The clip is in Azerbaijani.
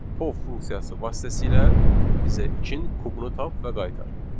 pov funksiyası vasitəsilə bizə ikinin kubunu tap və qaytar.